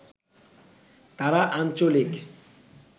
তারা আঞ্চলিক